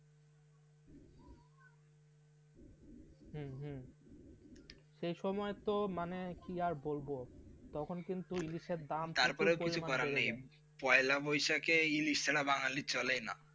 হ্যাঁ হ্যাঁ সে সময় তো মানে কি আর বোলব তখন কিন্তু ইলিশের দাম প্রচুর পরিমাণে বেড়ে যায়, তারপরে কিছু করার নেই পয়লা বৈশাখে ইলিশ ছাড়া বাঙ্গালীদের চলে না.